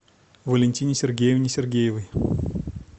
валентине сергеевне сергеевой